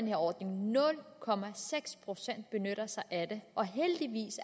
her ordning nul procent benytter sig af det og heldigvis